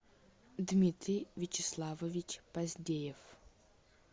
дмитрий вячеславович поздеев